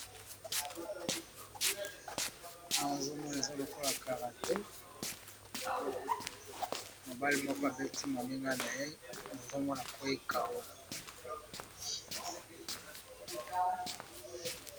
Awa tozali komona bitumba ya karate bilenge mibali babundi, moko alali na se.